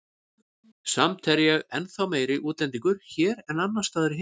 Samt er ég ennþá meiri útlendingur hér en annars staðar í heiminum.